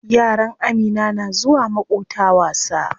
Yaran Amina na zuwa maƙota wasa.